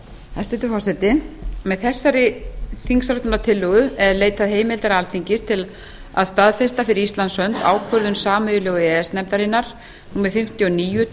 hæstvirtur forseti með þessari þingsályktunartillögu er leitað heimildar alþingis til að staðfesta fyrir íslands hönd ákvörðun sameiginlegu e e s nefndarinnar númer fimmtíu og níu tvö